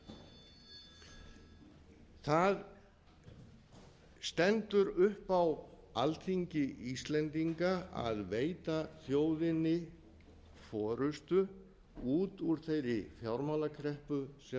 á sér það stendur upp á alþingi íslendinga að veita þjóðinni forustu út úr þeirri fjármálakreppu sem